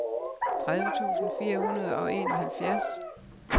tredive tusind fire hundrede og enoghalvfjerds